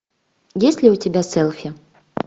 есть ли у тебя селфи